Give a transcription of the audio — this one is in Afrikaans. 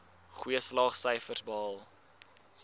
goeie slaagsyfers behaal